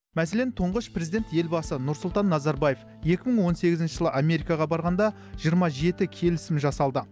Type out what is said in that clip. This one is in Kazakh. мәселен тұңғыш президент елбасы нұрсұлтан назарбаев екі мың он сегізінші жылы америкаға барғанда жиырма жеті келісім жасалды